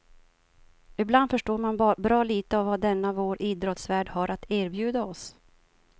Ibland förstår man bra lite av vad denna vår idrottsvärld har att erbjuda oss.